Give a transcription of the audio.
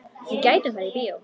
Við gætum farið í bíó.